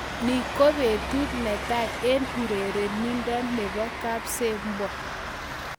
Ni kopetut netai eng urerindo nebo kipsebwo